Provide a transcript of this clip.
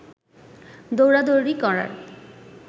দৌড়াদৌড়ি করার